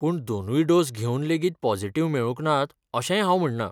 पूण दोनूय डोस घेवन लेगीत पॉजिटिव्ह मेळूंक नात अशेंय हांव म्हणना.